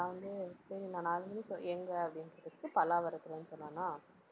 நான் வந்து சரி நான் நாலு மணி show எங்க அப்படின்னு கேட்டதுக்கு பல்லாவரத்துலன்னு சொன்னானா.